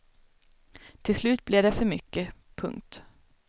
Till slut blir det för mycket. punkt